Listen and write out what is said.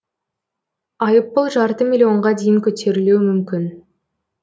айыппұл жарты миллионға дейін көтерілуі мүмкін